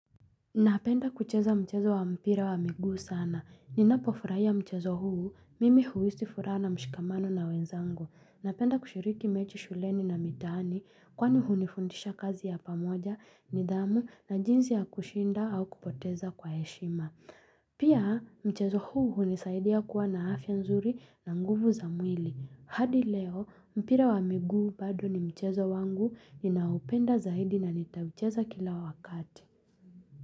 Napenda kucheza mchezo wa mpira wa migu sana. Ninapofurahia mchezo huu. Mimi huwisi fura na mshikamano na wenzangu. Napenda kushiriki mechi shuleni na mitani kwani hunifundisha kazi ya pamoja ni dhamu na jinzi ya kushinda au kupoteza kwa heshima. Pia mchezo huu hunisaidia kuwa na afya nzuri na nguvu za mwili. Hadi leo mpira wa migu badu ni mchezo wangu ninaupenda zaidi na nitawicheza kila wakati.